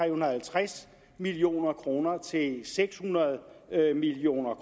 og halvtreds million kroner til seks hundrede million